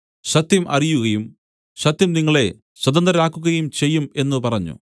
സത്യം അറിയുകയും സത്യം നിങ്ങളെ സ്വതന്ത്രരാക്കുകയും ചെയ്യും എന്നു പറഞ്ഞു